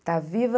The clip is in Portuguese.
Está viva.